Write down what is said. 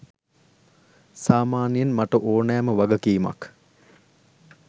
සාමාන්‍යයෙන් මට ඕනෑම වගකීමක්